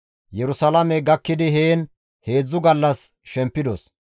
Yerusalaame gakkidi heen heedzdzu gallas shempidos;